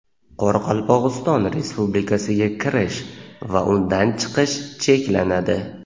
Qoraqalpog‘iston Respublikasiga kirish va undan chiqish cheklanadi.